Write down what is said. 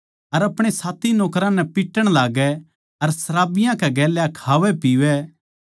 अर अपणे साथी नौकरां नै पिट्टण लाग्गै अर शराबियाँ कै गेल्या खावैपीवै